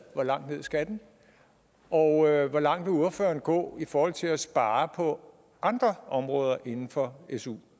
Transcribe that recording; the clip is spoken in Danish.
hvor langt ned skal den og hvor langt vil ordføreren gå i forhold til at spare på andre områder inden for su